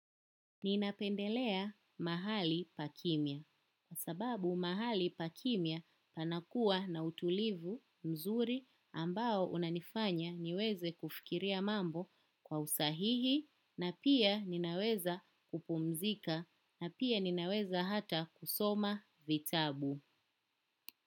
Ninapendelea mahali pa kimya. Kwa sababu mahali pa kimya panakuwa na utulivu mzuri ambao unanifanya niweze kufikiria mambo kwa usahihi na pia ninaweza kupumzika na pia ninaweza hata kusoma vitabu.